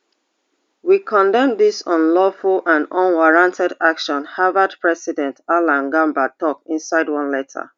we condemn dis unlawful and unwarranted action harvard president alan garber tok inside one letter